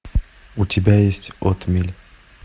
у тебя есть отмель